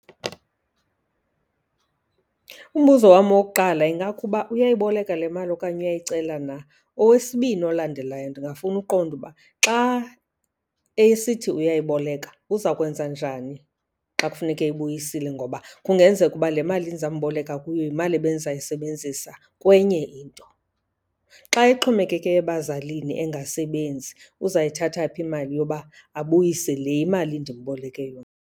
Umbuzo wam wokuqala ingakuba uyayiboleka le mali okanye uyayicela na. Owesibini olandelayo, ndingafuna uqonda uba xa esithi uyayiboleka uzawukwenza njani xa kufuneke eyibuyisile ngoba kungenzeka uba le mali ndizamboleka kuyo yimali ebendizayisebenzisa kwenye into. Xa exhomekeke ebazalini engasebenzi uzayithatha phi imali yoba abuyise le imali ndimboleke yona?